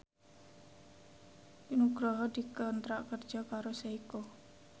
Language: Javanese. Nugroho dikontrak kerja karo Seiko